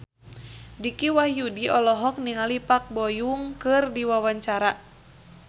Dicky Wahyudi olohok ningali Park Bo Yung keur diwawancara